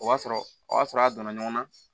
O b'a sɔrɔ o y'a sɔrɔ a donna ɲɔgɔn na